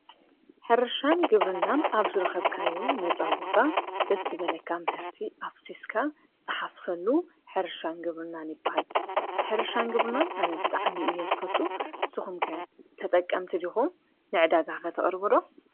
ሕርሻን ግብርናን ኣብ ዝረኸብካዮ ነፃ ቦታ ደስ ዝበለካ ምህርቲ ኣፍሲስካ ትሓፍሰሉ ሕርሻን ግብርናን ይበሃል፡፡ ሕርሻን ግብርናን ኣነ ብጥዕሚ እየ ዝፈቱ፡፡ ስኹምከ ተጠቀምቲ ዲኹም ንዕዳጋ ኸተቐርቡ ዶ?